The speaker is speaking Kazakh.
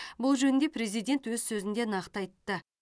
бұл жөнінде президент өз сөзінде нақты айтты